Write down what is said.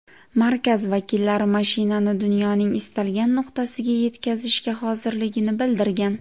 Markaz vakillari mashinani dunyoning istalgan nuqtasiga yetkazishga hozirligini bildirgan.